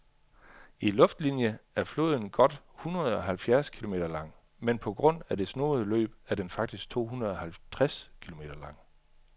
I luftlinie er floden godt hundredeoghalvfjerds kilometer lang, men på grund af det snoede løb er den faktisk tohundredeoghalvtreds kilometer lang.